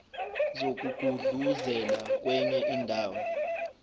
zokugudluzela kwenye indawo